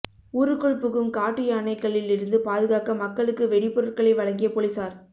ஊருக்குள் புகும் காட்டு யானைகளில் இருந்து பாதுகாக்க மக்களுக்கு வெடி பொருட்களை வழங்கிய பொலிஸார்